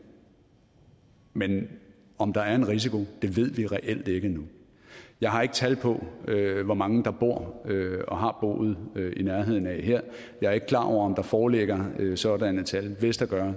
men om der er en risiko ved vi reelt ikke endnu jeg har ikke tal på hvor mange der bor og har boet i nærheden af det her jeg er ikke klar over om der foreligger sådanne tal men hvis der gør